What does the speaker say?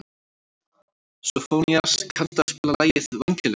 Sófónías, kanntu að spila lagið „Vængjalaus“?